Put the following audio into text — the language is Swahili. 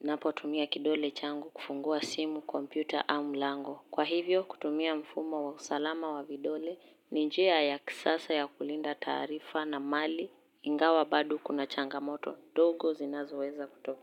napo tumia kidole changu kufungua simu, kompyuta, au mulango. Kwa hivyo kutumia mfumo wa usalama wa vidole ni njia ya kisasa ya kulinda tarifa na mali ingawa bado kuna changamoto dogo zinazo weza kutokea.